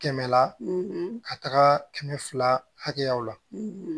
Kɛmɛ la ka taga kɛmɛ fila hakɛyaw la